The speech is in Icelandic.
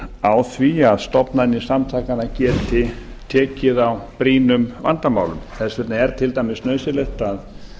á því að stofnanir samtakanna geti tekið á brýnum vandamálum þess vegna er til dæmis nauðsynlegt að